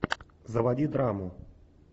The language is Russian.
заводи драму